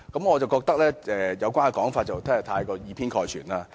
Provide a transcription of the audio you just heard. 我覺得這個說法過於以偏概全。